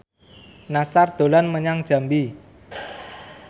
Nassar dolan menyang Jambi